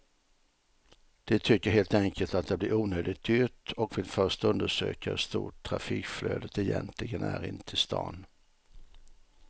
De tycker helt enkelt att det blir onödigt dyrt och vill först undersöka hur stort trafikflödet egentligen är in till stan.